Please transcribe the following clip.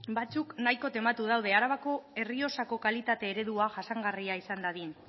batzuk nahiko tematu daude arabako errioxako kalitate eredua jasangarria izan dadin